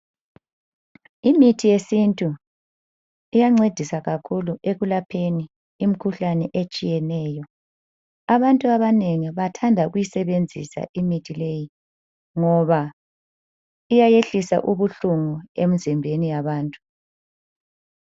Imithi yesintu iyancedisa kakhulu ekulapheni imikhuhlane etshiyeneyo. Abantu abanengi bathanda ukuyisebenzisa imithi leyi ngoba iyayehlisa ubuhlungu emzimbeni yabantu.